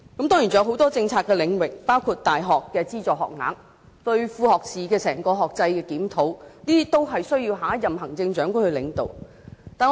當然還有很多政策的領域，包括大學的資助學額和整個副學士學制的檢討，這些工作均需由下任行政長官來領導。